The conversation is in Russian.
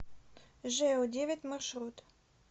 жэу девять маршрут